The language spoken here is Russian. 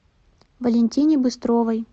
валентине быстровой